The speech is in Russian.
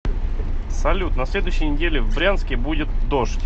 салют на следующей неделе в брянске будет дождь